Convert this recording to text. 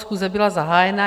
Schůze byla zahájena.